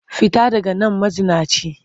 Fita daga man mazinaciya!